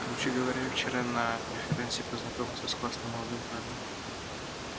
короче говоря я вчера на преферансе познакомился с классным молодым парнем